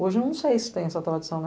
Hoje eu não sei se tem essa tradição.